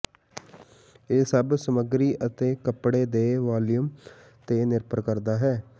ਇਹ ਸਭ ਸਮੱਗਰੀ ਅਤੇ ਕੱਪੜੇ ਦੇ ਵਾਲੀਅਮ ਤੇ ਨਿਰਭਰ ਕਰਦਾ ਹੈ